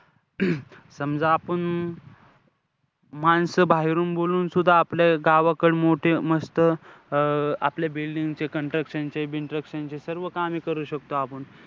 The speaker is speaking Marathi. समजा आपुन माणसं बाहेरून बोलवूनसुद्धा आपल्या गावाकडे मोठी मस्त अं आपल्या building चे construction बिनस्ट्रकशन चे सर्व कामे करू शकतो आपण.